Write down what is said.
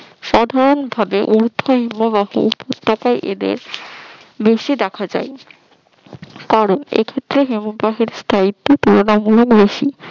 সাধারণভাবে এই ধরনের হিমবাহ উপত্যকায় এদের বেশি দেখা যায় কারণ এক্ষেত্রে হিমবাহ স্থায়ীত্ত্ব তুলনামূলক বেশি